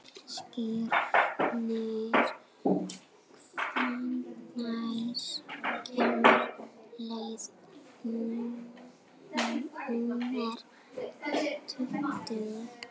Skírnir, hvenær kemur leið númer tuttugu?